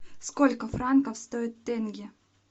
сколько франков стоит тенге